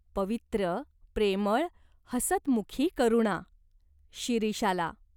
पवित्र, प्रेमळ, हसतमुखी करुणा. शिरीष आला.